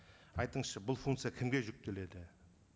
айтыңызшы бұл функция кімге жүктеледі